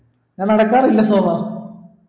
ഞാൻ നടക്കാറില്ല സോമാ